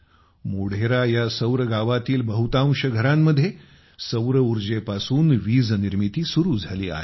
मोढेरा यासौर गावातील बहुतांश घरांमध्ये सौरऊर्जेपासून वीजनिर्मिती सुरू झाली आहे